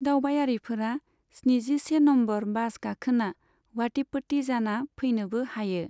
दावबायारिफोरा स्निजिसे नम्बर बास गाखोना वाटिपट्टी जाना फैनोबो हायो।